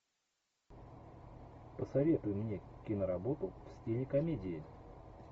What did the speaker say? посоветуй мне киноработу в стиле комедии